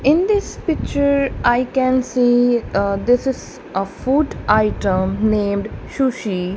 in this picture i can see uh this is a food item named sushi.